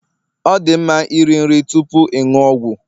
Ọ dị mma iri nri tupu ịṅụ ọgwụ